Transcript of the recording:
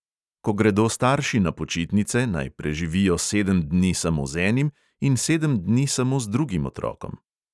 Ko gredo starši na počitnice, naj preživijo sedem dni samo z enim in sedem dni samo z drugim otrokom.